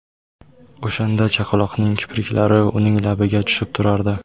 O‘shanda chaqaloqning kipriklari uning labiga tushib turardi.